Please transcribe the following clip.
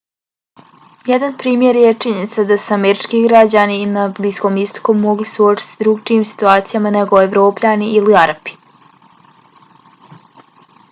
jedan primjer je činjenica da se američki građani na bliskom istoku mogu suočiti s drugačijim situacijama nego evropljani ili arapi